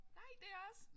Nej det er jeg også